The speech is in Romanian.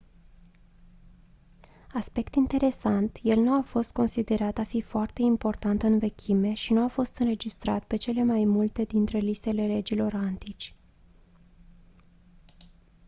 aspect interesant el nu a fost considerat a fi foarte important în vechime și nu a fost înregistrat pe cele mai multe dintre listele regilor antici